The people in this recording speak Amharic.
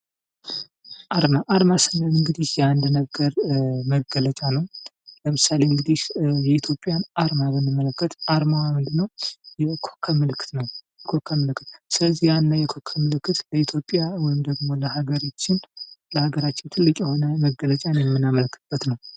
አርማ አርማ ስንል እንግዲህ የአንድ ነገር መገለጫ ነው። ለምሳሌ እንግዲህ የኢትዮጵያን አርማ ብንመለከት አርማ ምንድነው ኮከብ ምልከት ነው ስለዚህ የኮከብ ምልክት ለኢትዮጵያ ወይም ደግሞ ለሃገራችን ትልቅ የሆነ መገለጫን የምናመለከትበት ነው።